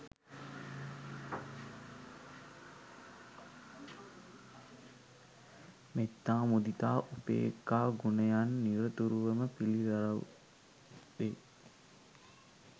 මෙත්තා, මුදිතා, උපේක්‍ඛා ගුණයන් නිරතුරුවම පිළිරැව් දෙයි.